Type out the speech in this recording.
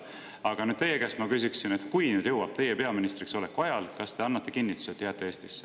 Aga teie käest ma küsiksin, et kui sõda jõuab siia teie peaministriks oleku ajal, kas te annate kinnituse, et jääte Eestisse.